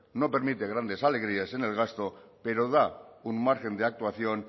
no permite grandes alegrías en el gasto pero da un margen de actuación